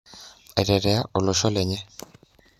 Aitetea olosho lenye